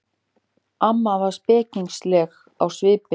Amma var spekingsleg á svipinn.